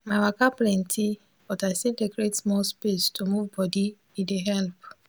my waka plenty but i still dey create small space to move body e dey help.